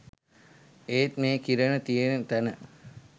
ඒත් මේ කිරණ තියෙන තැන